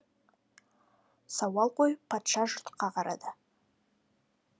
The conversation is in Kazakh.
сауал қойып патша жұртқа қарады